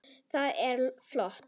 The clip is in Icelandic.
Það er flott.